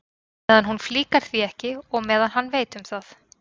Meðan hún flíkar því ekki og meðan hann veit um það.